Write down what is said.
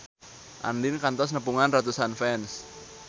Andien kantos nepungan ratusan fans